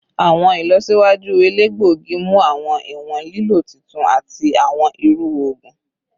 Awọn ilọsiwaju elegbogi mu awọn iwọn lilo titun ati awọn iru oogun